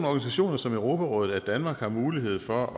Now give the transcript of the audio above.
organisationer som europarådet at danmark har mulighed for at